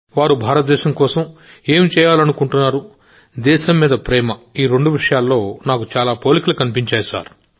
వారు భారతదేశం కోసం ఏం చేయాలనుకుంటున్నారు దేశంపై ప్రేమ ఈ రెండు విషయాల్లో నాకు చాలా పోలికలు కనబడ్డాయి